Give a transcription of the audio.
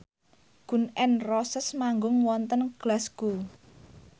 Gun n Roses manggung wonten Glasgow